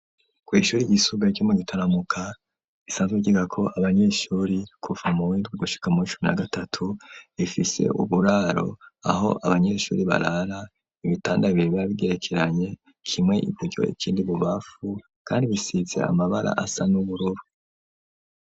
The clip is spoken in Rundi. Kw'ishure ryisumbuye ryo mu Gitaramuka risanzwe ryigako abanyeshure kuva muw'indwi gushika muw' icumi na gatatu, rifise uburaro aho abanyeshure barara, ibitanda biba bigerekeranye, kimwe iburyo, ikindi ibubamfu kandi bisize amabara asa n'ubururu.